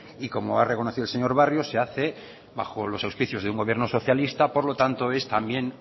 y como ha reconocido el señor barrio se hace bajo los auspicios de un gobierno socialista por lo tanto es también